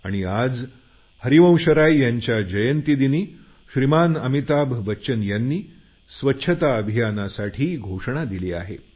आणि आज हरिवंशराय यांच्या जयंतीदिनी अमिताभ बच्चन यांनी स्वच्छता अभियानाची घोषणा केली आहे